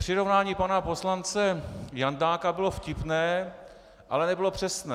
Přirovnání pana poslance Jandáka bylo vtipné, ale nebylo přesné.